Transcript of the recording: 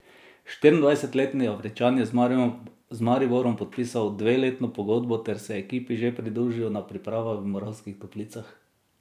Štiriindvajsetletni Afričan je z Mariborom podpisal dveletno pogodbo ter se ekipi že pridružil na pripravah v Moravskih Toplicah.